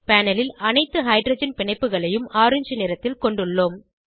panel ல் அனைத்து hydrogen பிணைப்புகளையும் ஆரஞ்ச் நிறத்தில் கொண்டுள்ளோம்